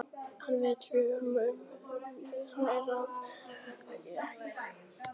Hann veit hvort um ekta jólasvein er að ræða eða ekki.